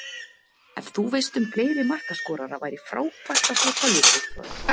Ef þú veist um fleiri markaskorara væri frábært að fá tölvupóst frá þér.